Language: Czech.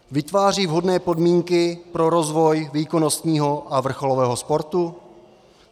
Vytváří vhodné podmínky pro rozvoj výkonnostního a vrcholového sportu?